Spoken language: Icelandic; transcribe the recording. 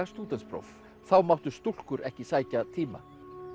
stúdentspróf þá máttu stúlkur ekki sækja tíma